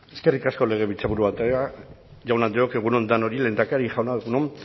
eskerrik asko legebiltzarburu andrea jaun andreok egun on danori lehendakari jauna egun on